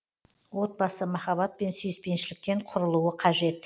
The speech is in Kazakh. отбасы махаббат пен сүйіспеншіліктен құрылуы қажет